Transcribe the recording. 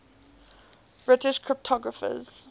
british cryptographers